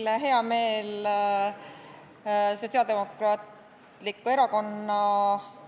Mul on hea meel esitada teile Sotsiaaldemokraatliku Erakonna